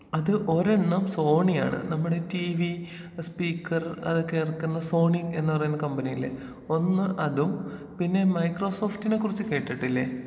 അത് ഒരെണ്ണം സോണിയാണ്. നമ്മുടേ ടീവി, സ്പീക്കർ അതൊക്കെ എറക്കുന്ന സോണി എന്ന് പറയുന്ന കമ്പനിയില്ലേ? ഒന്ന് അതും പിന്നേ മൈക്രോ സോഫ്റ്റിനെ കുറിച്ച് കേട്ടിട്ടില്ലേ?